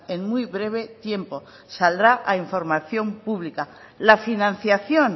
en muy breve tiempo saldrá a información pública la financiación